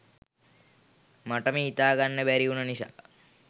මටම හිතා ගන්න බැරි උන නිසා